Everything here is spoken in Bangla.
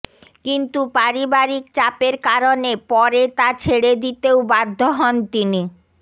কিন্তু পারিবারিক চাপের কারণে পরে তা ছেড়ে দিতেও বাধ্য হন তিনি